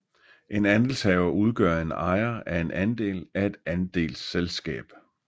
En andelshaver udgør en ejer af en andel af et andelsselskab